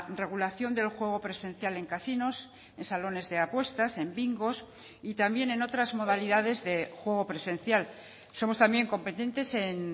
regulación del juego presencial en casinos en salones de apuestas en bingos y también en otras modalidades de juego presencial somos también competentes en